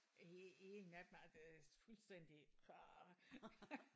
En en af dem altså det er fuldstændig ah